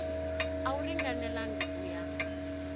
a wu ringanelangi ku ya